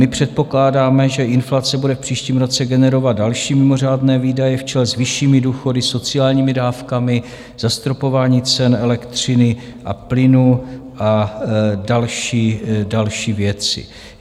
My předpokládáme, že inflace bude v příštím roce generovat další mimořádné výdaje v čele s vyššími důchody, sociálními dávkami, zastropování cen elektřiny a plynu a další věci.